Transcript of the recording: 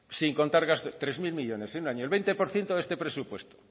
sin contar gastos tres mil millónes en un año el veinte por ciento de este presupuesto